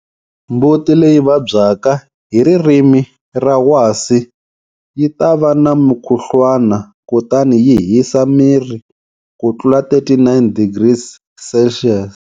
Mbuti leyi vabyaka hi ririmi ra wasi yi ta va na mukhuhlwana kutani yi hisa miri ku tlula 39 degrees Celsius.